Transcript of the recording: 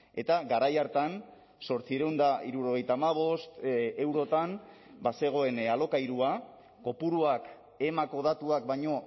eta garai hartan zortziehun eta hirurogeita hamabost eurotan bazegoen alokairua kopuruak emako datuak baino